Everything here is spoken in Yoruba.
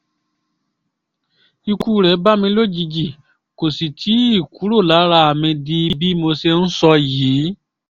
ikú rẹ̀ bá mi lójijì kó sì tì í kúrò lára mi di bí mo ṣe ń sọ yìí